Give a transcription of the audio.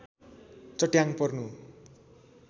चट्याङ पर्नु